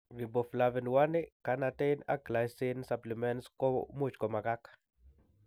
Riboflavin, l carnitine and glycine supplements komuchi komakak